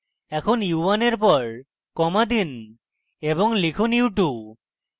এখন u1 এর পর comma দিন এবং লিখুন u2